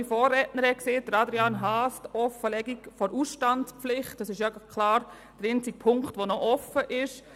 Die Festlegung der Ausstandspflicht ist klar der einzige Punkt, der noch offen ist.